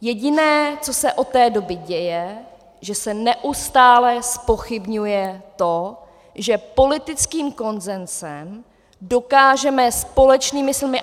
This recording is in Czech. Jediné, co se od té doby děje, že se neustále zpochybňuje to, že politickým konsenzem dokážeme společnými silami...